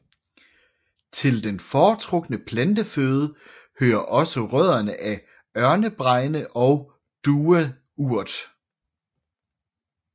Til den foretrukne planteføde hører også rødderne af ørnebregne og dueurt